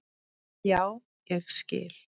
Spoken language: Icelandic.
Já, ég skil